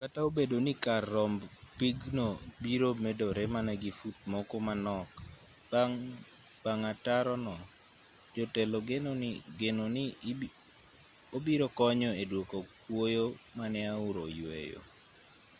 kata obedo ni kar romb pigno biro medore mana gi fut moko manok bang' ataro no jotelo geno ni obiro konyo e dwoko kuoyo mane aora oyweyo